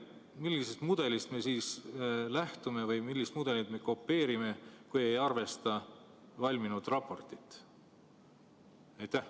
Millisest mudelist me lähtume või millist mudelit me kopeerime, kui ei arvesta valminud raportit?